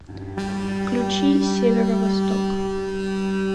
включи северо восток